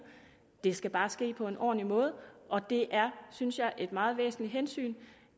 det skal bare ske på en ordentlig måde og det er synes jeg et meget væsentligt hensyn